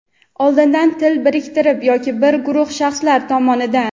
oldindan til biriktirib yoki bir guruh shaxslar tomonidan;.